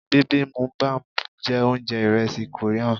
bibimbap jẹ ounjẹ iresi Korean.